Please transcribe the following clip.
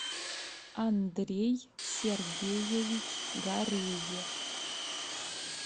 андрей сергеевич гареев